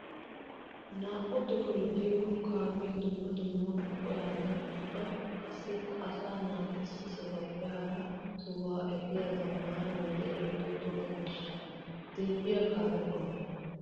Naa''u tohoy de'iyo kaame dumma dumma buquranne ubba qassikka asaa naata issi sohuwappe hara sohuwa efiya zamaana wode ehiido toga miishsha. Dirbbiya kaame qommo.